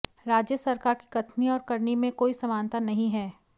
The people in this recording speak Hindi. राज्य सरकार की कथनी और करनी में कोई समानता नहीं है